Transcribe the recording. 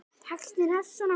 Textinn hefst svona